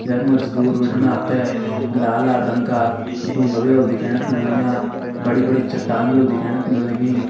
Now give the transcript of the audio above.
यख मा जी दूर बिटिन आप ते लाल लाल रंग का डुंगा भी होल दिखेण क मिल लग्यां बड़ी बड़ी चट्टान भी होली दिखेण क मिल लगीं।